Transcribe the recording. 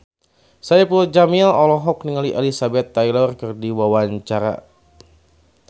Saipul Jamil olohok ningali Elizabeth Taylor keur diwawancara